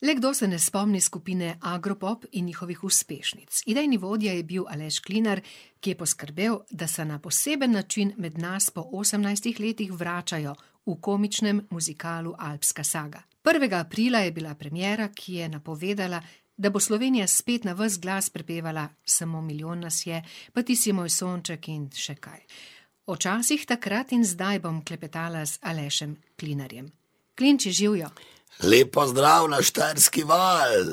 Le kdo se ne spomni skupine Agropop in njihovih uspešnic? Idejni vodja je bil Aleš Klinar, ki je poskrbel, da se na poseben način med nas po osemnajstih letih vračajo v komičnem muzikalu Alpska saga. Prvega aprila je bila premiera, ki je napovedala, da bo Slovenija spet na vas glas prepevala Samo milijon nas je pa Ti si moj sonček in še kaj. O časih takrat in zdaj bom klepetala z Alešem Klinarjem. Klinči, živjo! Lep pozdrav na Štajerski val!